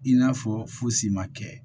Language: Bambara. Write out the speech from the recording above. I n'a fɔ fosi ma kɛ